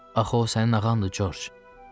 Axı o sənin ağandır Corc.